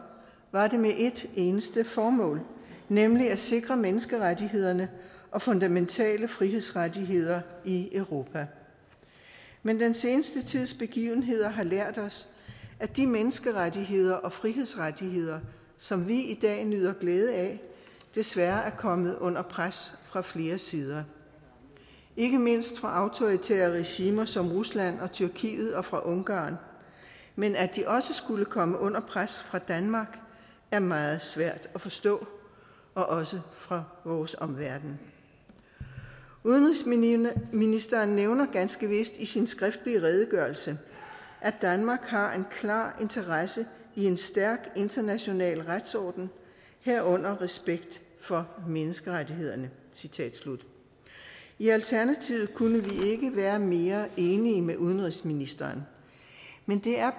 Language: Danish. var det med ét eneste formål nemlig at sikre menneskerettighederne og fundamentale frihedsrettigheder i europa men den seneste tids begivenheder har lært os at de menneskerettigheder og frihedsrettigheder som vi i dag nyder glæde af desværre er kommet under pres fra flere sider ikke mindst fra autoritære regimer som rusland og tyrkiet og fra ungarn men at de også skulle komme under pres fra danmark er meget svært at forstå og også for vores omverden udenrigsministeren nævner ganske vist i sin skriftlige redegørelse at danmark har en klar interesse i en stærk international retsorden herunder respekt for menneskerettighederne i alternativet kunne vi ikke være mere enige med udenrigsministeren men det er